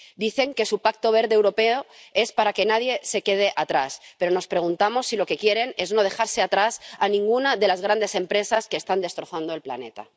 Dicen que su Pacto Verde Europeo es para que nadie se quede atrás, pero nos preguntamos si lo que quieren es no dejarse atrás a ninguna de las grandes empresas que están destrozando el planeta.